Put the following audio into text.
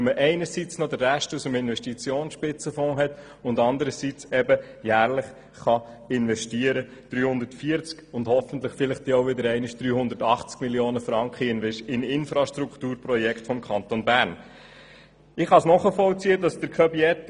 Dies, weil einerseits ein Rest aus dem Investitionsspitzenfonds zur Verfügung steht und anderseits jährlich 340 Mio. Franken beziehungswiese hoffentlich auch wieder einmal 380 Mio. Franken in Infrastrukturprojekte des Kantons Bern investiert werden können.